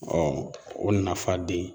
Ɔ o nafa de